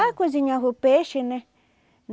Ah, cozinhava o peixe, né?